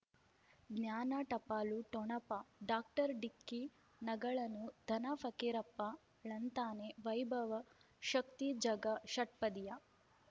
ಜ್ಞಾನ ಟಪಾಲು ಠೊಣಪ ಡಾಕ್ಟರ್ ಢಿಕ್ಕಿ ಣಗಳನು ಧನ ಫಕೀರಪ್ಪ ಳಂತಾನೆ ವೈಭವ್ ಶಕ್ತಿ ಝಗಾ ಷಟ್ಪದಿಯ